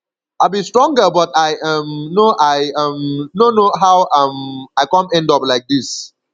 i be strong girl but i um no i um no know how um i come end up like dis